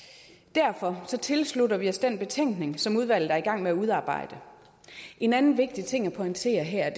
derfor tilslutter vi os den betænkning som udvalget er i gang med at udarbejde en anden vigtig ting at pointere her